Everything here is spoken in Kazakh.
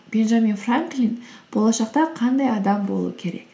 бенджамин франклин болашақта қандай адам болу керек